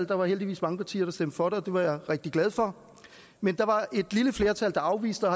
der var heldigvis mange partier der stemte for det og det var jeg rigtig glad for men der var et lille flertal der afviste